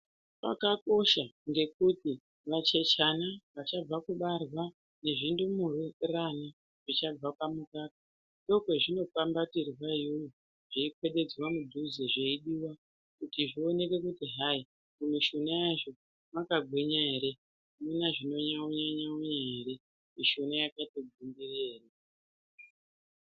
Zvakakosha ngekuti vachechana vachabva kubarwa nezvindumurana zvichabva pamukaka ndokwazvinokwambatirwa iyoyo. Zveiswededzwa mudhuze, zveidiwa kuti zvionekwe kuti hai, mimishuna yazvo mwakagwinya ere, amuna zvinonyaunya-nyaunya ere. Mishuna yakatogwinya ere.